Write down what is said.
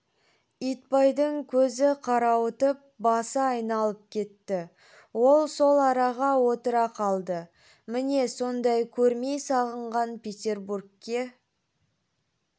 итбайдың көзі қарауытып басы айналып кетті ол сол араға отыра қалды міне сондай көрмей сағынған петербургке